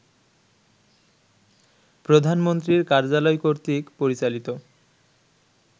প্রধানমন্ত্রীর কার্যালয়কর্তৃক পরিচালিত